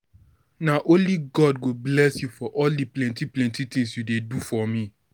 Na only God go bless you for all di plenty plenty tins you dey do for me.